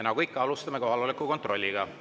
Nagu ikka, alustame kohaloleku kontrolliga.